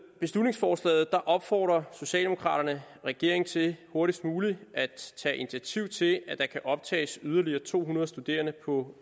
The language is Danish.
beslutningsforslaget opfordrer socialdemokraterne regeringen til hurtigst muligt at tage initiativ til at der kan optages yderligere to hundrede studerende på